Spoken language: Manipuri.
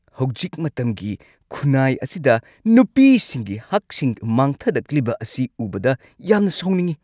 ꯍꯧꯖꯤꯛ ꯃꯇꯝꯒꯤ ꯈꯨꯟꯅꯥꯏ ꯑꯁꯤꯗ ꯅꯨꯄꯤꯁꯤꯡꯒꯤ ꯍꯛꯁꯤꯡ ꯃꯥꯡꯊꯔꯛꯂꯤꯕ ꯑꯁꯤ ꯎꯕꯗ ꯌꯥꯝꯅ ꯁꯥꯎꯅꯤꯡꯉꯤ ꯫